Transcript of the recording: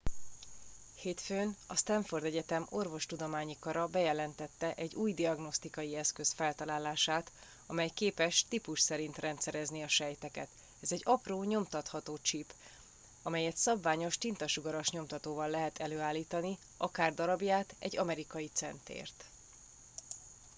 hétfőn a stanford egyetem orvostudományi kara bejelentette egy új diagnosztikai eszköz feltalálását amely képes típus szerint rendszerezni a sejteket ez egy apró nyomtatható csip amelyet szabványos tintasugaras nyomtatóval lehet előállítani akár darabját egy amerikai centért